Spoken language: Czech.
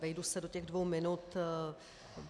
Vejdu se do těch dvou minut.